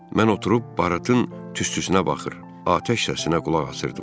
Mən oturub baratın tüstüsünə baxır, atəş səsinə qulaq asırdım.